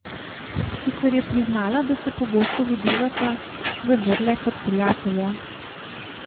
Sicer je priznala, da se pogosto videvata, vendar le kot prijatelja.